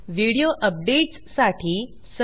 video updates साठी subscribe करा